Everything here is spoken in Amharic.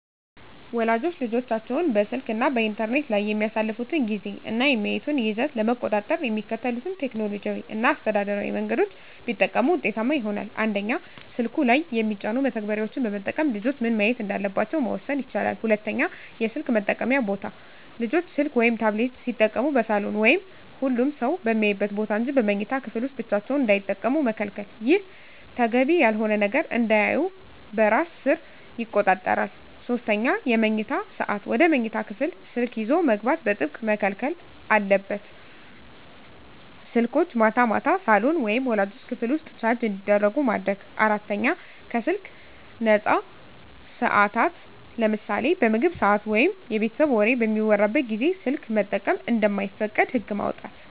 ወላጆች ልጆቻቸው በስልክ እና በኢንተርኔት ላይ የሚያሳልፉትን ጊዜ እና የሚያዩትን ይዘት ለመቆጣጠር የሚከተሉትን ቴክኖሎጂያዊ እና አስተዳደራዊ መንገዶች ቢጠቀሙ ውጤታማ ይሆናል፦ 1)ስልኩ ላይ የሚጫኑ መተግበሪያዎችን በመጠቀም ልጆች ምን ማየት እንዳለባቸው መወሰን ይቻላል። 2)የስልክ መጠቀምያ ቦታ: ልጆች ስልክ ወይም ታብሌት ሲጠቀሙ በሳሎን ወይም ሁሉም ሰው በሚያይበት ቦታ እንጂ በመኝታ ክፍል ውስጥ ብቻቸውን እንዳይጠቀሙ መከልከል። ይህ ተገቢ ያልሆነ ነገር እንዳያዩ በራስ ሰር ይቆጣጠራል። 3)የመኝታ ሰዓት: ወደ መኝታ ክፍል ስልክ ይዞ መግባት በጥብቅ መከልከል አለበት። ስልኮች ማታ ማታ ሳሎን ወይም ወላጆች ክፍል ውስጥ ቻርጅ እንዲደረጉ ማድረግ። 4)ከስልክ ነፃ ሰዓታት: ለምሳሌ በምግብ ሰዓት ወይም የቤተሰብ ወሬ በሚወራበት ጊዜ ስልክ መጠቀም እንደማይፈቀድ ህግ ማውጣት።